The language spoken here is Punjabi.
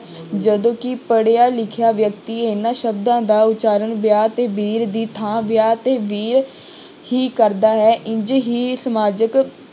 ਜਦੋਂ ਕਿ ਪੜ੍ਹਿਆ ਲਿਖਿਆ ਵਿਅਕਤੀ ਇਹਨਾਂ ਸ਼ਬਦਾਂ ਦਾ ਉਚਾਰਨ ਵਿਆਹ ਅਤੇ ਵੀਰ ਦੀ ਥਾਂ ਵਿਆਹ ਤੇ ਵੀਰ ਹੀ ਕਰਦਾ ਹੈ ਇੰਞ ਹੀ ਸਮਾਜਕ